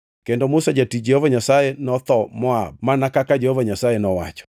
Kendo Musa jatich Jehova Nyasaye notho Moab mana kaka Jehova Nyasaye nowacho.